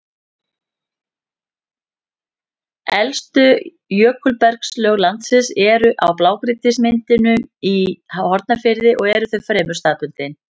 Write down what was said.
Elstu jökulbergslög landsins eru í blágrýtismynduninni í Hornafirði og eru þau fremur staðbundin.